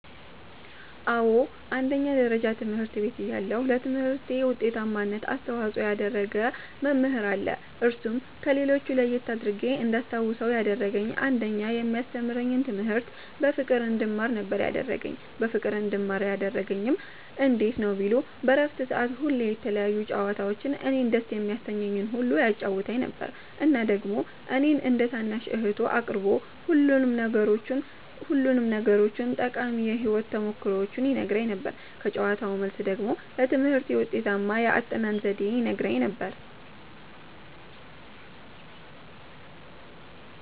አዎ አንደኛ ደረጃ ትምህርት ቤት እያለሁ ለትምህርቴ ዉጤታማነት አስተዋፅኦ ያደረገ መምህር አለ እርሱም ከሌሎች ለየት አድርጌ እንዳስታዉሰዉ ያደረገኝ አንደኛ የሚያስተምረኝን ትምህርት በፍቅር እንድማር ነበረ ያደረገኝ በፍቅር እንድማር ያደረገኝም እንዴት ነዉ ቢሉ በረፍት ሰዓት ሁሌ የተለያዩ ጨዋታዎችን እኔን ደስ የሚያሰኘኝን ሁሉ ያጫዉተኝ ነበረ እና ደግሞ እኔን እንደ ታናሽ እህቱ አቅርቦ ሁሉንም ነገሮቹን ጠቃሚ የህይወት ተሞክሮዎቹን ይነግረኝ ነበረ ከጨዋታዉ መልስ ደግሞ ለትምህርቴ ውጤታማ የአጠናን ዘዴዎችን ይነግረኝም ነበረ።